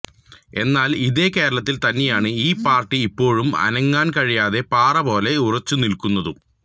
എന്നാൽ ഇതേ കേരളത്തിൽ തന്നെയാണ് ഈ പാർട്ടി ഇപ്പോഴും അനക്കാൻ കഴിയാത്ത പാറ പോലെ ഉറച്ച് നിൽക്കുന്നതും